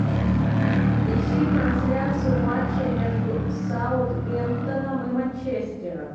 ищи трансляцию матча между саутгемптоном и манчестером